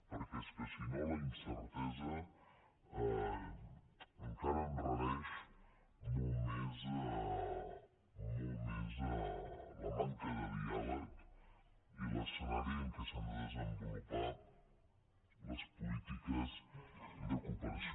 perquè és que si no la incertesa encara enrareix molt més la manca de diàleg i l’escenari en què s’han de desenvolupar les polítiques de cooperació